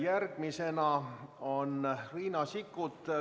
Järgmisena on Riina Sikkut.